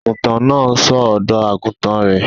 Àgùntàn náà ń ṣọ́ ọ̀dọ́-àgùntàn rẹ̀